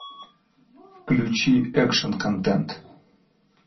включи экшн контент